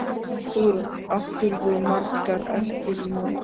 Hugrún: Áttirðu margar eftir í morgun?